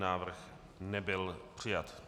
Návrh nebyl přijat.